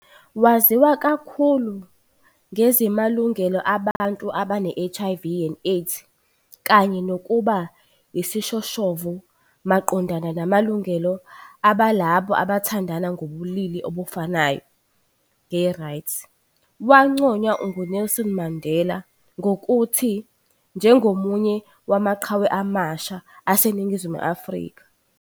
Waziwa kakhulu ngezimalungelo abantu abane-HIV and AIDS kanye nokuba yisishoshovu maqondana namalungelo alabo abathandana ngobulili obufanayo, gay rights, wanconywa nguNelson Mandela ngokuthi "njengomunye wamaqhawe amasha" aseNingizimu Afrika.